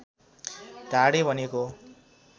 ढाडे भनिएको हो